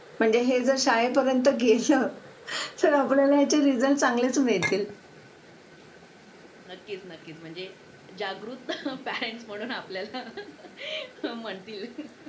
Late होतं सर्दी खोकला हा एक वाढलं आहे. एका मुलाला क्लास पूर्ण क्लास त्याच्यामध्ये वाहून निघत निघत असतो असं म्हणायला हरकत नाही. हो डेंग्यू, मलेरिया यासारखे आजार पण ना म्हणजे लसीकरण आहे. पूर्ण केले तर मला नाही वाटत आहे रोप असू शकतेपुडी लसीकरणाबाबत थोडं पालकांनी लक्ष दिलं पाहिजे की आपला मुलगा या वयात आलेला आहे. आता त्याच्या कोणत्या लसी राहिलेले आहेत का?